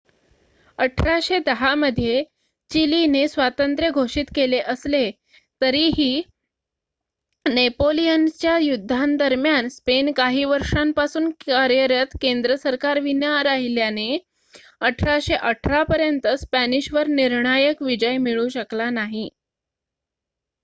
1810 मध्ये चिलीने स्वातंत्र्य घोषित केले असले तरीही नेपोलियनच्या युद्धांदरम्यान स्पेन काही वर्षांपासून कार्यरत केंद्र सरकारविना राहिल्याने 1818 पर्यंत स्पॅनिशवर निर्णायक विजय मिळू शकला नाही